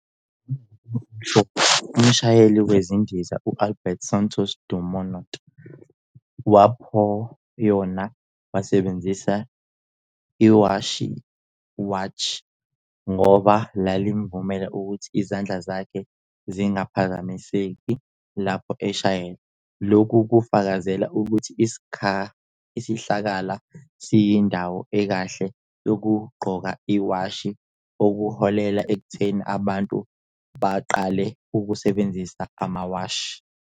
Ngo-1904, umshayeli wezindiza u-Alberto Santos-Dumont waphayona wasebenzisa iwashiwatch ngoba lalimvumela ukuba izandla zakhe zingaphazamiseki lapho eshayela. Lokhu kufakazele ukuthi isihlakala siyindawo ekahle yokugqoka iwashi okuholele ekutheni abantu baqale ukusebenzisa amawashi.